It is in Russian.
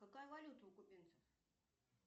какая валюта у кубинцев